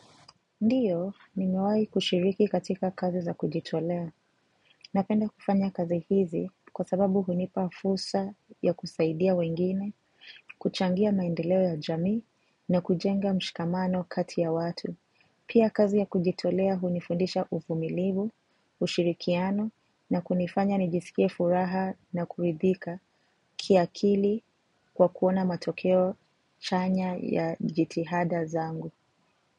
Ndiyo, nimewai kushiriki katika kazi za kujitolea. Napenda kufanya kazi hizi kwa sababu hunipa fursa ya kusaidia wengine, kuchangia maendeleo ya jamii na kujenga mshikamano kati ya watu. Pia kazi ya kujitolea hunifundisha uvumilivu, ushirikiano na kunifanya nijisikie furaha na kuridhika kiakili kwa kuona matokeo chanya ya jitihada zangu.